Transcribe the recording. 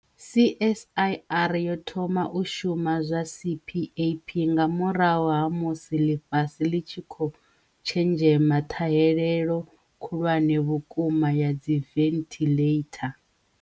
CSIR yo thoma u shuma zwa CPAP nga murahu ha musi ḽifhasi ḽi tshi khou tshenzhema ṱhahelelo khulwane vhukuma ya dziventhiḽeitha.